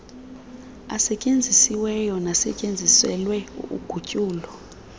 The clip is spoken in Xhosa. asetyenzisiweyo nasetyenziselwe ugutyulo